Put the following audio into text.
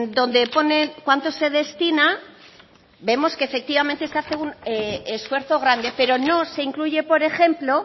donde pone cuánto se destina vemos que efectivamente se hace un esfuerzo grande pero no se incluye por ejemplo